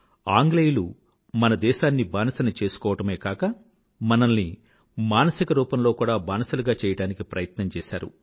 ఆంగ్లేయులు మన దేశాన్ని బానిసను చేసుకోవడమే కాక మనల్ని మానసిక రూపంలో కూడా బానిసలుగా చెయ్యడానికి ప్రయత్నం చేసారు